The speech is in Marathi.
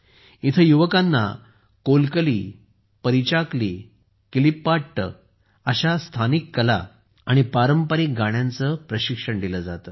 येथे युवकांना कोलकली परीचाकली किलिप्पाट्ट आणि पारंपारिक गाण्यांचे प्रशिक्षण दिले जाते